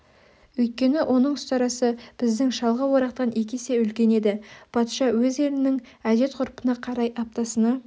өйткені оның ұстарасы біздің шалғы орақтан екі есе үлкен еді патша өз елінің әдет-ғұрпына қарай аптасына